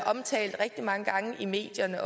omtalt rigtig mange gange i medierne